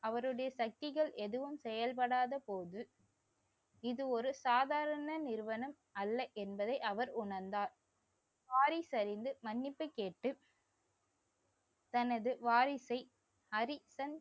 அவருடைய சக்திகள் எதுவும் செயல்படாத போது இது ஒரு சாதாரண அல்ல என்பதை அவர் உணர்ந்தார். வாரிசு அறிந்து மன்னிப்பு கேட்டு தனது வாரிசை அரிசன்